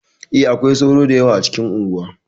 E, akwai sauro da yawa a cikin unguwa.